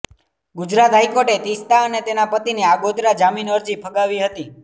ગુજરાત હાઈકોર્ટે તિસ્તા અને તેના પતિની આગોતરા જામીન અરજી ફગાવી હતી